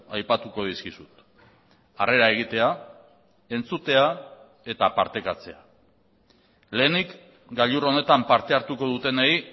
aipatuko dizkizut harrera egitea entzutea eta partekatzea lehenik gailur honetan parte hartuko dutenei